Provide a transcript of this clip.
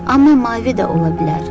Amma mavi də ola bilər.